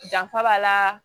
Danfa b'a la